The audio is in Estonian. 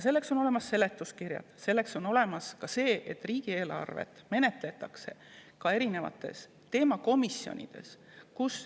Selleks on olemas seletuskirjad ja selleks menetletakse riigieelarvet ka erinevates teemakomisjonides.